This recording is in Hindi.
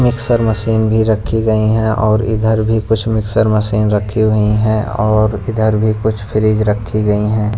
मिक्सर मशीन भी रखी गई है और इधर भी कुछ मिक्सर मशीन रखी हुई हैं और इधर भी कुछ फ्रिज रखी गई हैं।